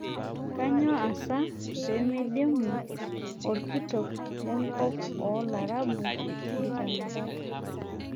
Kanyoo asa peemeidimu orkitok lenkop oo laarabu inkitanapat?